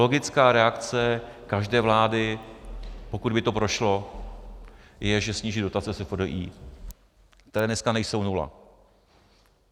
Logická reakce každé vlády, pokud by to prošlo, je, že sníží dotace SFDI, které dneska nejsou nula.